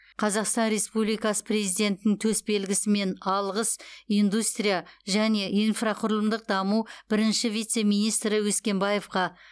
қазақстан республикасы президентінің төсбелгісімен алғыс индустрия және инфрақұрылымдық даму бірінші вице министрі өскенбаевқа